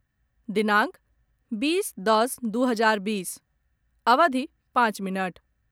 दिनांक बीस दश दू हजार बीस अवधि पाँच मिनट